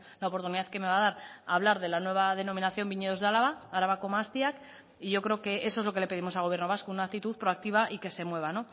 la oportunidad que me va a dar hablar de la nueva denominación viñedos de álava arabako mahastiak y yo creo que eso es lo que le pedimos al gobierno vasco una actitud proactiva y que se mueva